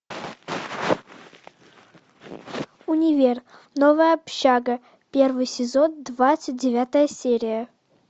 универ новая общага первый сезон двадцать девятая серия